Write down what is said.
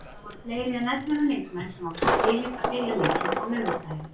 Það voru fleiri en ellefu leikmenn sem áttu skilið að byrja leikinn á laugardaginn.